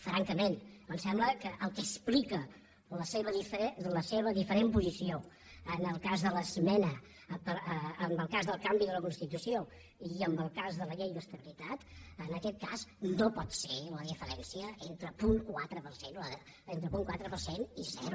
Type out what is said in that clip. francament em sembla que el que explica la seva diferent posició en el cas del canvi de la constitució i en el cas de la llei d’estabilitat en aquest cas no pot ser la diferència entre punt quatre per cent entre punt quatre per cent i zero